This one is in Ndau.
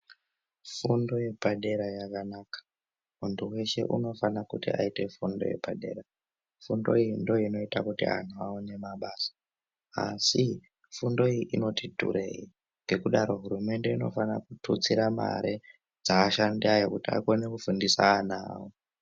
Fundo yepadera yakanaka muntu weshe unofana kuti aite fundo yepadera fundo iyi ndiyo inoita kuti antu aone mabasa asi fundo iyi inoti dhurei ngekudaro hurumende inofanira kututsira mare dzeashandi ayo kuti agone kufundisa ana awo.